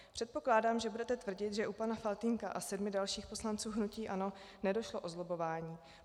Předpokládám, že budete tvrdit, že u pana Faltýnka a sedmi dalších poslanců hnutí ANO nešlo o zlobbování.